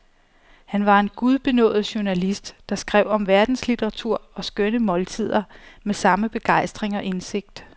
Han var en gudbenådet journalist, der skrev om verdenslitteratur og skønne måltider med samme begejstring og indsigt.